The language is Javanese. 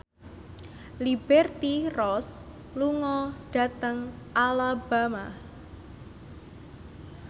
Liberty Ross lunga dhateng Alabama